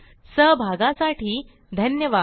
सहभागासाठी धन्यवाद